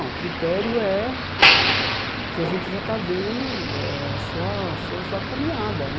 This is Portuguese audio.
Não O critério é o que a gente já está vendo eh, a sua sua sua caminhada.